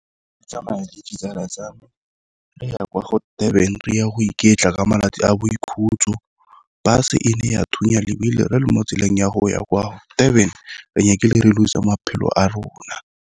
Ke tsamaya le ditsala tsa me re ya kwa go Durban re ya go iketla ka malatsi a boikhutso, bus-e e ile ya thunya lebili re le mo tseleng ya go ya kwa Durban re nyakile re loser maphelo a rona.